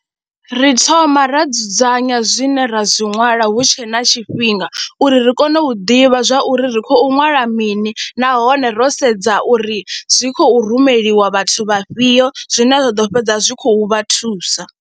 Ri thoma ra dzudzanya zwine ra zwi ṅwala hu tshe na tshifhinga uri ri kone u ḓivha zwa uri ri khou ṅwala mini nahone ro sedza uri zwi khou rumeliwa vhathu vha fhio zwine zwa ḓo fhedza zwi khou vha thusa.